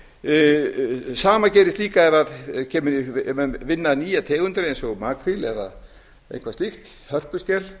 það sama gerist líka ef menn vinna nýjar tegundir eins og makríl eða eitthvað slíkt hörpuskel